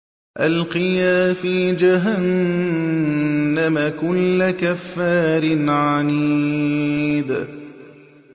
أَلْقِيَا فِي جَهَنَّمَ كُلَّ كَفَّارٍ عَنِيدٍ